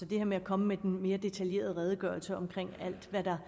det her med at komme med en mere detaljeret redegørelse om alt hvad der